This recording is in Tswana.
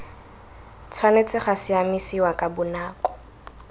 tshwanetse ga siamisiwa ka bonako